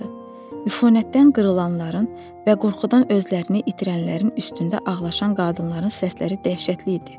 Üfunətdən qırılanların və qorxudan özlərini itirənlərin üstündə ağlaşan qadınların səsləri dəhşətli idi.